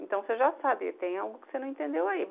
Então você já sabe, tem algo que você não entendeu aí.